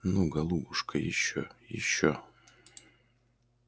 ну голубушка ещё ещё